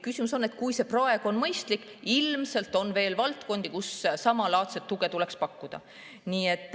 Küsimus ongi selles, et kui see praeguse on mõistlik, siis ilmselt on veel valdkondi, kus samalaadset tuge tuleks pakkuda.